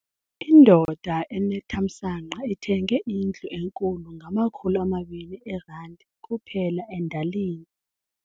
Indoda enethamsanqa ithenge indlu enkulu ngamakhulu amabini eerandi kuphela endalini.